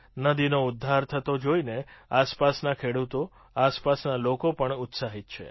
નદીનો ઉદ્ધાર થતો જોઈને આસપાસના ખેડૂતો આસપાસના લોકો પણ ઉત્સાહિત છે